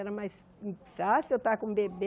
Era mais fácil eu estar com o bebê.